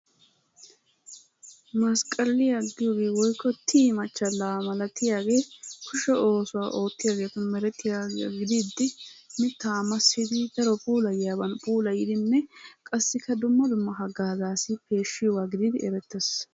Masqqaliya giyogee woykko tii machchalaa malatiyagee kushe oosuwa ootiyageetun merettiyagaa giddidi mitaa massidi daro puulayiyaban massidi qassikka dumma dumma hagaazzaassi peeshiyogaa gididi erettees.